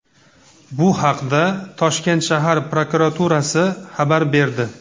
Bu haqda Toshkent shahar prokuraturasi xabar berdi .